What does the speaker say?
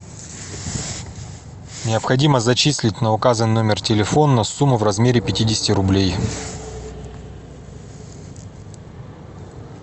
необходимо зачислить на указанный номер телефона сумму в размере пятидесяти рублей